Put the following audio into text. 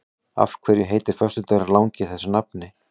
Af hverju heitir föstudagurinn langi þessu nafni?